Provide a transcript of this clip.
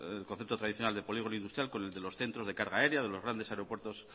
el concepto tradicional de polígono industrial con el de los centros de carga área de los grandes aeropuertos